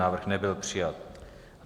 Návrh nebyl přijat.